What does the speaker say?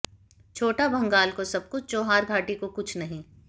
छोटा भंगाल को सब कुछ चौहार घाटी को कुछ नहीं